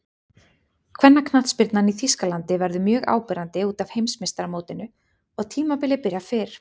Kvennaknattspyrnan í Þýskalandi verður mjög áberandi útaf Heimsmeistaramótinu og tímabilið byrjar fyrr.